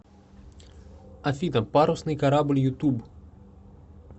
афина парусный корабль ютуб